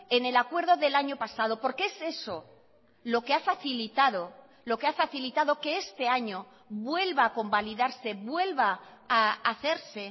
en el acuerdo del año pasado porque es eso lo que ha facilitado lo que ha facilitado que este año vuelva a convalidarse vuelva a hacerse